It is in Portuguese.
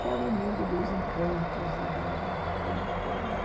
Que é o mundo dos encantos e da